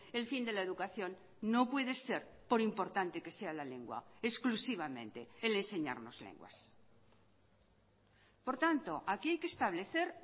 el fin de la educación no puede ser por importante que sea la lengua exclusivamente el enseñarnos lenguas por tanto aquí hay que establecer